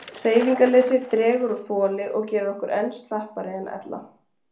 Hreyfingarleysi dregur úr þoli og gerir okkur enn slappari en ella.